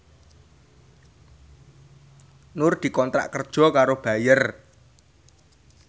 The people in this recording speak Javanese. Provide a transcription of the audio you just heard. Nur dikontrak kerja karo Bayer